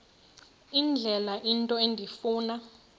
indlela into endifuna